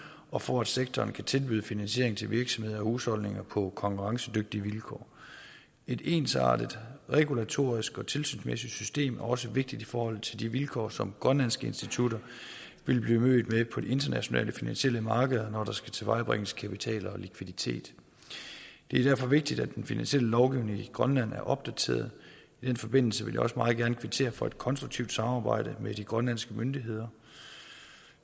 og for at sektoren kan tilbyde finansiering til virksomheder husholdninger på konkurrencedygtige vilkår et ensartet regulatorisk og tilsynsmæssigt system er også vigtigt i forhold til de vilkår som grønlandske institutter vil blive mødt med på de internationale finansielle markeder når der skal tilvejebringes kapital og likviditet det er derfor vigtigt at den finansielle lovgivning i grønland er opdateret i den forbindelse vil jeg også meget gerne kvittere for et konstruktivt samarbejde med de grønlandske myndigheder